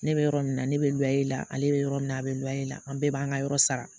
Ne bɛ yɔrɔ min na ne bɛ luwewayi la ale bɛ yɔrɔ min na a bɛ lwya i la an bɛɛ b'an ka yɔrɔ sara